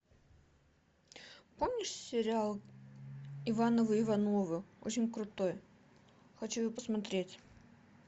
помнишь сериал ивановы ивановы очень крутой хочу его посмотреть